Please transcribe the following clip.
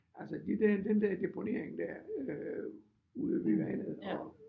Altså lige den den der deponering der øh ude ved vandet og